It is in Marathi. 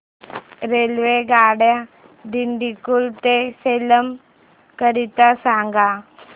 रेल्वेगाड्या दिंडीगुल ते सेलम करीता सांगा